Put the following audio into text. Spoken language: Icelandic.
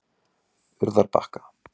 Urðarbakka